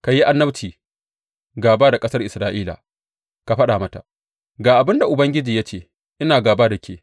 Ka yi annabci gāba da ƙasar Isra’ila ka faɗa mata, Ga abin da Ubangiji ya ce ina gāba da ke.